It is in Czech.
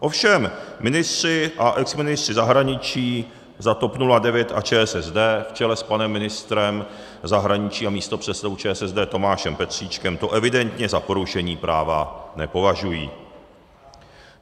Ovšem ministři a exministři zahraničí za TOP 09 a ČSSD v čele s panem ministrem zahraničí a místopředsedou ČSSD Tomášem Petříčkem to evidentně za porušení práva nepovažují.